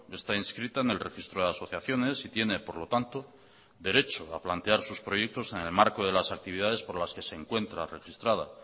está inscrita en el registro de asociaciones y tiene por lo tanto derecho a plantear sus proyectos en el marco de las actividades por las que se encuentra registrada